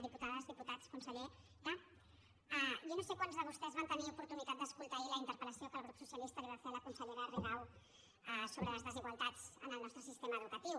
diputades diputats consellera jo no sé quants de vostès van tenir oportunitat d’escoltar ahir la interpel·socialista li va fer a la consellera rigau sobre les desigualtats en el nostre sistema educatiu